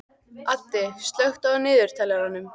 Addi, slökktu á niðurteljaranum.